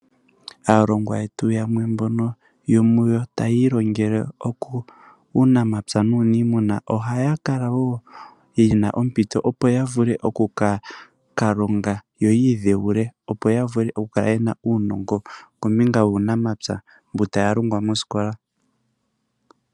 Aalongwa yetu mbono yomuyo taa ilongele uunamapya nuuniimuna ohaa yakala yena ompito opo yakale yakalonga yoyiidhewule. Opo yavule okukale yena uunongo wuunamapya mbotaya longwa moosikola.